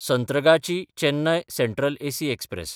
संत्रागाची–चेन्नय central AC express